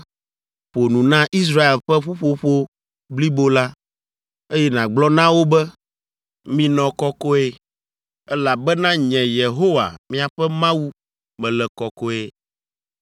“Ƒo nu na Israel ƒe ƒuƒoƒo blibo la, eye nàgblɔ na wo be, ‘Minɔ kɔkɔe, elabena nye, Yehowa, miaƒe Mawu, mele kɔkɔe.